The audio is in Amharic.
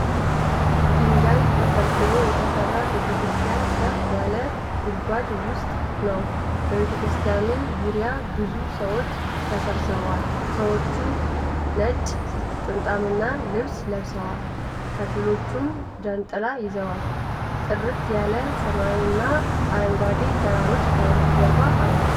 ድንጋይ ተፈልፍሎ የተሰራ ቤተክርስቲያን ከፍ ያለ ጉድጓድ ውስጥ ነው። በቤተክርስቲያኑ ዙሪያ ብዙ ሰዎች ተሰብስበዋል። ሰዎች ነጭ ጥምጣምና ልብስ ለብሰዋል፤ ከፊሎቹም ጃንጥላ ይዘዋል። ጥርት ያለ ሰማይና አረንጓዴ ተራሮች ከበስተጀርባ አሉ።